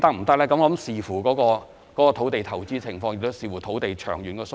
這要視乎有關土地的投資情況及土地的長遠需要。